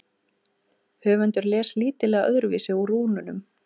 Höfundur les lítillega öðruvísi úr rúnunum.